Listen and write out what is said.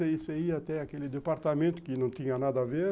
Você ia até aquele departamento que não tinha nada a ver.